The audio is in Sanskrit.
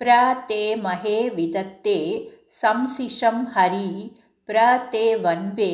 प्र ते महे विदथे शंसिषं हरी प्र ते वन्वे